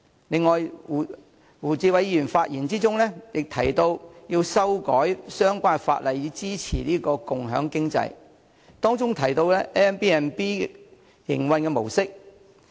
另外，胡議員在發言中提到要修改相關法例以支持共享經濟，並提及 Airbnb 的營運模式。